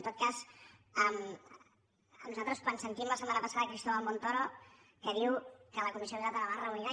en tot cas a nosaltres quan sentim la setmana passada cristóbal montoro que diu que la comissió bilateral es reunirà